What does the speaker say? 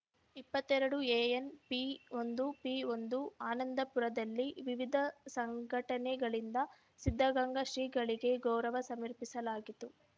ಇಪ್ಪತ್ತೆರ ಡು ಎ ಎನ್‌ ಪಿ ಒಂದು ಪಿ ಒಂದು ಆನಂದಪುರದಲ್ಲಿ ವಿವಿಧ ಸಂಘಟನೆಗಳಿಂದ ಸಿದ್ದಗಂಗಾ ಶ್ರೀಗಳಿಗೆ ಗೌರವ ಸಮರ್ಪಿಸಲಾಯಿತು